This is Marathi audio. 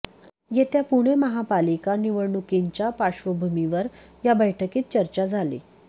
येत्या पुणे महापालिका निवडणुकींच्या पार्श्वभूमीवर या बैठकीत चर्चा झाली